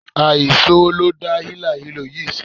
Àìsówó ló dá hílàhílo yìí sílẹ̀.